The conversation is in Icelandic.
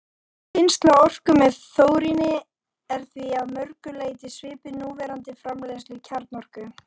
Vinnsla orku með þóríni er því að mörgu leyti svipuð núverandi framleiðslu kjarnorku.